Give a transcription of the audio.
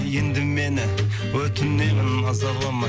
енді мені өтінемін мазалама